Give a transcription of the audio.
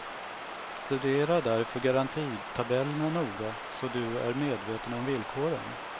Studera därför garantitabellerna noga så du är medveten om villkoren.